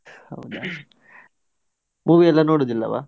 ಹೌದಾ, movie ಎಲ್ಲ ನೋಡುದಿಲ್ಲವಾ?